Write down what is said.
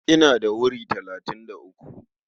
Ina da wuri talatin da uku.